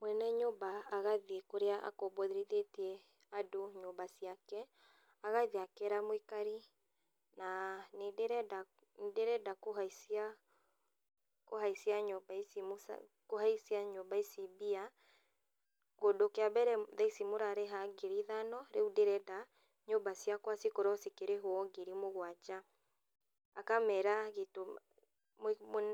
Mwene nyũmba agathiĩ kũrĩa akomborithĩtie andũ nyũmba ciake, agathiĩ akera mũikari na nĩndĩrenda ndĩrenda kũhaicia kũhaicia nyũmba ici kũhaicia nyumba ici mbia, tondũ kĩambere, thaici mũrarĩha ngiri ithano, rĩũ ndĩrenda nyũmba ciakwa cikorwo cikĩrĩhwo ngiri mũgwanja. Akamera gĩtũmi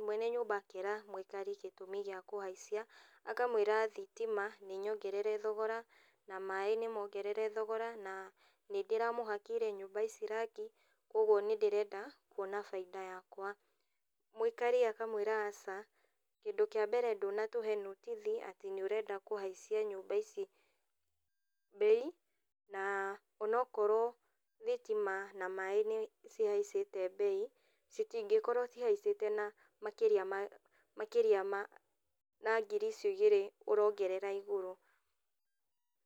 mwene nyũmba akera mũĩkari gĩtũmi gĩa kũhaicia, akamwĩra thitima nĩnyongerere thogora, na maĩ nĩmongerere thogora, na nĩndĩramũhakĩire nyũmba ici rangi, ũguo nĩndĩrenda kuona bainda yakwa. Mũikara akamwĩra aca. Kĩndũ kĩa mbere ndũnatũhe nothithi atĩ nĩũrenda kũhaicia nyũmba ici mbei, na onokorwo thitima na maĩ nĩ cihaicĩte mbei, citingĩkorwo cihaicĩte na makĩria ma makĩria ma na ngiri icio igĩrĩ ũrongerera igũrũ.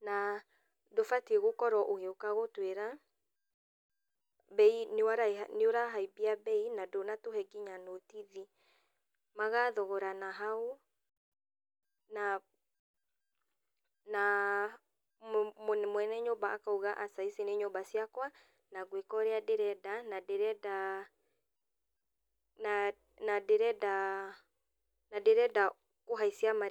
Na ndũbatiĩ gũkorwo ũgĩũka gũtwĩra, mbei nĩ nĩũrahaimbia mbei, na ndũnatũhe nginya notithi. Magathogorana hau, na na mũ mwene nyũmba akauga aca ici nĩ nyũmba ciakwa, na ngwĩka ũrĩa ndĩrenda na ndĩrenda na na ndĩrenda na ndĩrenda kũhaicia ma.